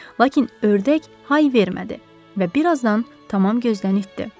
Lakin ördək hay vermədi və bir azdan tamam gözdən itdi.